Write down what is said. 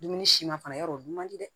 Dumuni si ma fana ya dɔn o dun man di dɛ